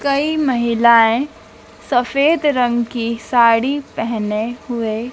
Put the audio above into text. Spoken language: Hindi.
कई महिलाएं सफेद रंग की साड़ी पेहने हुए--